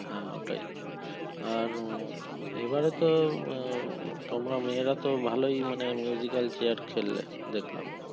হ্যাঁ ওটাই আর উম এবারে তো তোমরা মেয়েরা তো ভালোই মানে al chair খেললে দেখলাম।